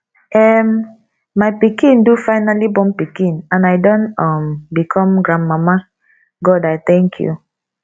um my pikin do finally born and i don um become grandmama god i thank you